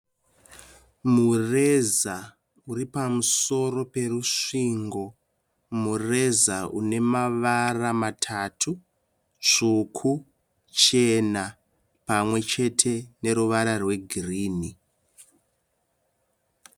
Mureza uripamusoro perusvingo. Mureza unemavara matatu. Tsvuku, chena pamwe chete neruvara rwegirinhi.